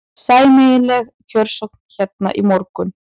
Sæmileg kjörsókn hérna í morgun?